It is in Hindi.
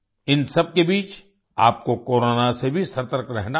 इन सबके बीच आपको कोरोना से भी सतर्क रहना है